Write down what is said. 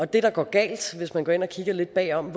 det der går galt hvis man går ind og kigger lidt bagom